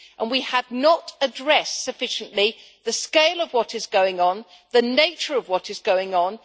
We have not addressed sufficiently the scale of what is going on and the nature of what is going on.